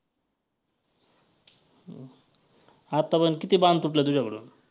आतापर्यंत किती बाण तुटले तुझ्याकडून?